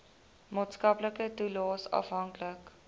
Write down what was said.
maatskaplike toelaes afhanklik